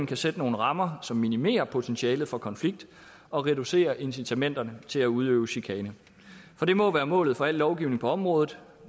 kan sætte nogle rammer som minimerer potentialet for konflikt og reducerer incitamenterne til at udøve chikane for det må være målet for al lovgivning på området